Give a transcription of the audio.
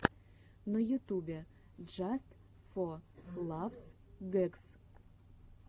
на ютубе джаст фо лафс гэгс